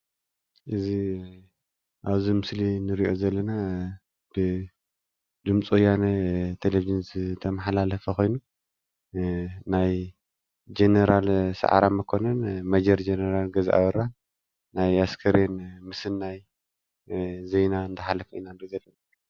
እዚ አብ ምስሊ እንሪኦ ዘለና ብድምፂ ወያነ ዝተመሓላለፈ ኮይኑ ናይ ጀነራል ሰዓረ መኮነን ሜጀር ጀነራል ገዛኢ አበራ ናይ ኣስከሬን ምስናይ ዜና እንዳ ሓለፈ ኢና ንርኢ ዘለና።